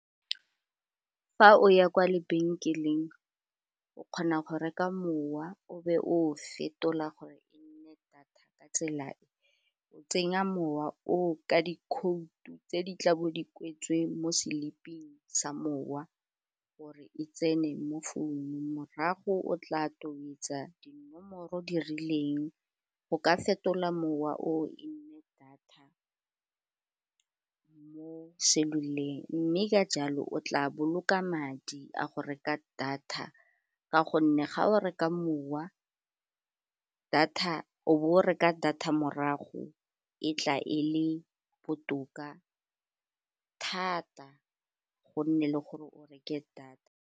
Fa o ya kwa lebenkeleng, o kgona go reka mowa o be o fetola gore e nne data ka tsela e o tsenya mowa o ka dikhoutu tse di tla bo di kwetsweng mo seliping sa mowa gore e tsene mo founung morago o tla tobetsa dinomoro di rileng, o ka fetola mowa o e nne data, mo cellular-eng mme ka jalo o tla boloka madi a go reka data ka gonne ga o reka mowa o bo o reka data morago, e tla e le botoka thata, gonne le gore o reke data.